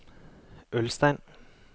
Ulstein